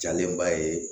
Jalenba ye